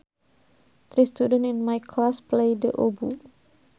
Three students in my class play the oboe